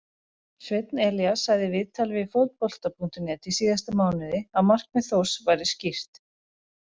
Sveinn Elías sagði í viðtali við Fótbolta.net í síðasta mánuði að markmið Þórs væri skýrt.